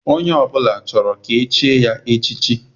Onye ọbụla chọrọ ka echie ya echichi.